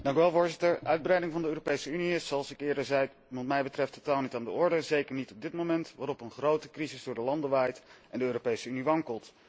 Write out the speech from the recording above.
Voorzitter, uitbreiding van de Europese Unie is, zoals ik eerder zei, wat mij betreft totaal niet aan de orde, en zeker niet op dit moment, waarop een grote crisis door de landen waait en de Europese Unie wankelt.